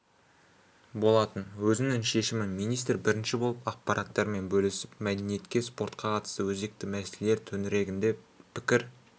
болатын өзінің шешімін министр бірінші болып ақпараттармен бөлісіп мәдениетке спортқа қатысты өзекті мәселелер төңірегінде пікір